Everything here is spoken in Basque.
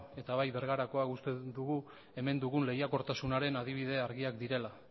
eta bai bergarakoa uste dugu hemen dagoen lehiakortasunaren adibide argiak direla